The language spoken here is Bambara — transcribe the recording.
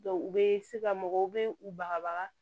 u bɛ se ka mɔgɔw bɛ u bagabaga